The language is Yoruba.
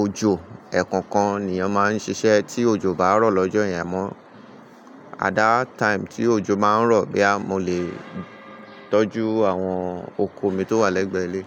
òjò ẹ̀kọ̀ọ̀kan ni eeyan máa ń ṣiṣẹ́ tí òjò bá rọ̀ lọ́jọ́ yen mọ́. At that time tí òjò má ń rọ̀ boya mọ́ le tọ́jú àwọn oko mi tó wà lẹ́gbẹ̀ẹ́ ilé.